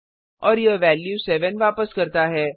और यह वैल्यू 7 वापस करता है